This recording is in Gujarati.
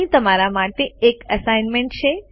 અહીં તમારા માટે એક એસાઇન્મેન્ટ છે